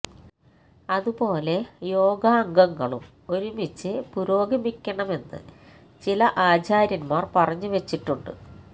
അതുപോലെ യോഗാംഗങ്ങളും ഒരുമിച്ച് പുരോഗമിക്കണമെന്ന് ചില ആചാര്യന്മാര് പറഞ്ഞു വെച്ചിട്ടുണ്ട്